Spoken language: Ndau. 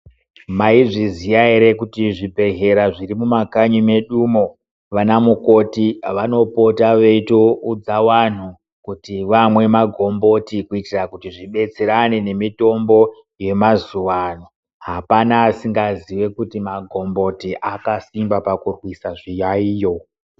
Mayizviziya here kuti zvibhedhlera zvirimumakanyi medu mo, vanamukoti vanopota veyitowudza wanhu kuti vamwe magomboti kuitira kuti zvibetserane nemitombo yemazuwano. Hapana asingaziye kuti magomboti akasimba pakubvisa zviyayiyo.